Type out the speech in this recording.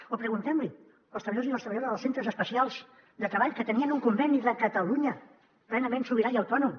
o preguntem los als treballadors i les treballadores dels centres especials de treball que tenien un conveni de catalunya plenament sobirà i autònom